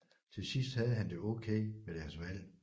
Til sidst havde han det okay med deres valg